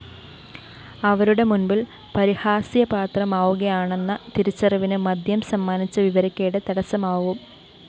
അവരുടെ മുന്‍പില്‍ പരിഹാസ്യപാത്രമാവുകയാണെന്ന തിരിച്ചറിവിന് മദ്യം സമ്മാനിച്ച വിവരക്കേട് തടസ്സമാവും